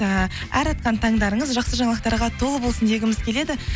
ііі әр атқан таңдарыңыз жақсы жаңалықтарға толы болсын дегіміз келеді